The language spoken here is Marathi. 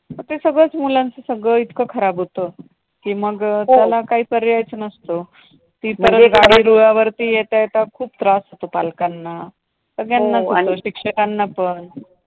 ते सगळंच मुलांचं सगळं इतकं खराब होतं. कि मग हो त्याला काही पर्यायच नसतो. म्हणजे गाडी रुळावरती येता येता खूप त्रास होतो पालकांना. सगळ्यांनाच हो आणि शिक्षकांना पण